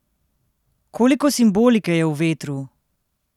Koliko simbolike je v vetru!